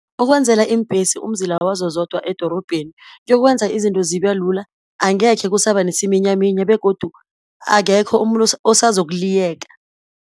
Ukwenzela iimbhesi umzila wazo zodwa edorobheni, kuyokwenza izinto zibelula, angekhe kusaba nesiminyaminya, begodu akekho umuntu osazokuliyeka.